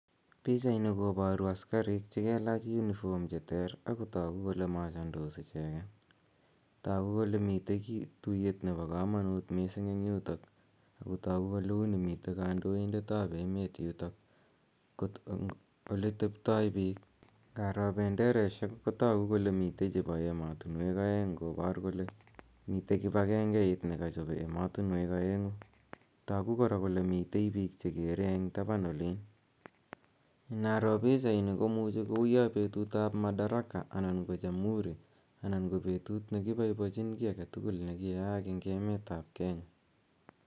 Pichaini kobaru asikarik che kalach unifom cheterter agotagu kole machendos icheget. Tagu kole mite tuyet nebo kamanut mising eng yutok ago tagu kole u nemite kandoindetab emet yutok. Oleteptoi biik, ngaroo bendaraisiek ko tagu kole mito chebo ematinwek aeng kobor kole mite kibakengeit nekochobe ematinuek aengu. Tagu kora kole mitei biik chegere eng taban olin. Naroo pichaini ko tagu kou yo betutab Madaraka anan ko Jamuhuri anan ko betut ne kiboiboichin kiy agetugul ne kiyaak eng emetab Kenya.